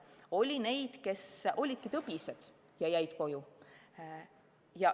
Oli neid, kes olidki tõbised ja jäid koju.